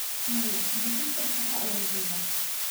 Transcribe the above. Maya, berrito shaqada ayaan joogaa.